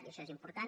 i això és important